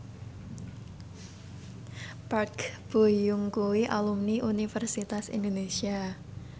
Park Bo Yung kuwi alumni Universitas Indonesia